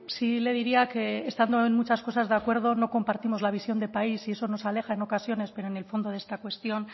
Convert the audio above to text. sí le diría que estando en muchas cosas de acuerdo no compartimos la visión de país y eso nos aleja en ocasiones pero en el fondo de esta cuestión